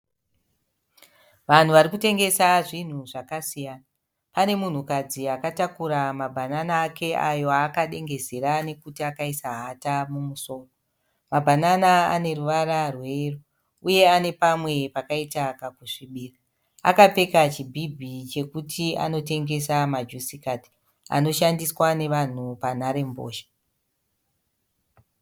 Vanhu vari kutengesa zvinhu zvakasiyana. Pane munhukadzi akatakura mabhanana ake ayo aakadengezera nekuti akaisa hata mumusoro. Mabhanana ane ruvara rweyero uye ane pamwe pakaita kakusvibira. Akapfeka chibhibhi chekuti anotengesa majusikadzi anoshandiswa nevanhu panharembozha.